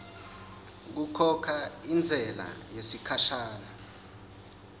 kukhokha intsela yesikhashana